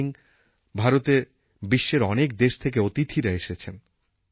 ইদানিং ভারতে বিশ্বের অনেক দেশ থেকে অতিথিরা এসেছেন